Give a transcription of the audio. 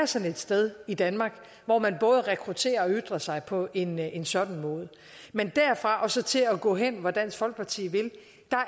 sådan et sted i danmark hvor man både rekrutterer og ytrer sig på en en sådan måde men derfra og så til at gå hen hvor dansk folkeparti vil